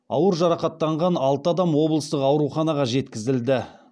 ауыр жарақаттанған алты адам облыстық ауруханаға жеткізілді